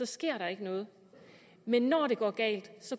sker der ikke noget men når det går galt